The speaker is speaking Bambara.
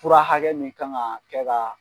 Fura hakɛ min ka kan kɛ ka